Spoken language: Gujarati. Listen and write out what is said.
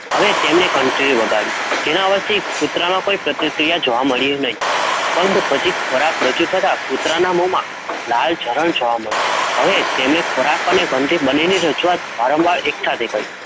હવે તેમને ઘન્ટી વગાડી, જેના અવાજ થી કૂતરાના, કોઈ પ્રતિક્રિયા જોવા મળી નઈ, પરંતુ ખોરાક રજૂ કરતાં કૂતરાના મોહ માં લલચરન જોવા મળ્યુ, હવે તેને ખોરાક અને ગન્ટી રજૂઆત વારંવાર એક સાથે, એક સાથે પડી